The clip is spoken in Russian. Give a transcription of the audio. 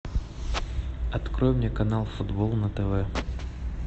открой мне канал футбол на тв